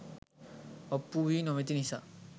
ඔප්පු වී නොමැති නිසා